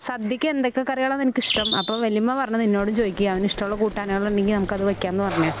സദ്യക്ക് എന്തൊക്കെ കറികളാ നിനക്കിഷ്ടം? അപ്പോ വല്യമ്മ പറഞ്ഞു നിന്നോടും ചോദിക്ക് അവന് ഇഷ്ടമുള്ള കൂട്ടാനുകളുണ്ടെങ്കിൽ നമുക്കത് വെക്കാംന്ന് പറഞ്ഞ്